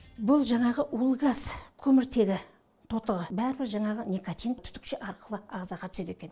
бұл жанағы улы газ көміртегі тотығы барлығы жанағы никотин түтікше арқылы арқылы ағзаға түседі екен